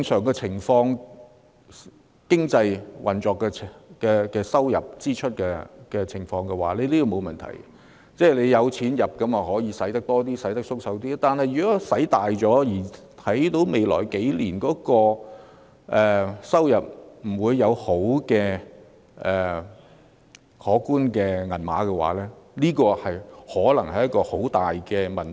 當然，在經濟運作和收支正常的情況下，有關安排並無問題，有較多收入便可以花較多錢，可以較闊綽地花錢，但如果過度花費，而預期未來數年不會有可觀的收入時，這可能會造成很嚴重的問題。